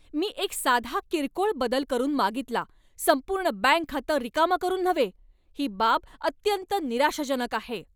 मी एक साधा किरकोळ बदल करून मागितला, संपूर्ण बँक खातं रिकामं करून नव्हे! ही बाब अत्यंत निराशाजनक आहे.